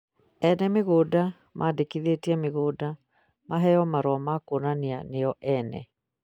Ene mĩgũnda mandĩkithie mĩgũnda maheo marũa ma kuonania nio ene